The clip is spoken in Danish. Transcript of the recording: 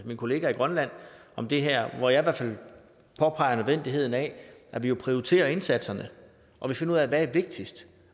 min kollega i grønland om det her hvor jeg har påpeget nødvendigheden af at vi prioriterer indsatserne og finder ud af hvad der er vigtigst